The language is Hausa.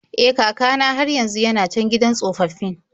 E, kaka na har yanzu yana can gidan tsofaffin.